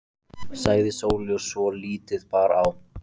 sagði Sóley svo lítið bar á.